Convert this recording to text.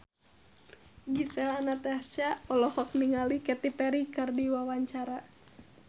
Gisel Anastasia olohok ningali Katy Perry keur diwawancara